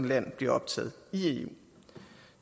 land bliver optaget i eu